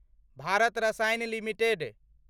Bharat Rasayan limited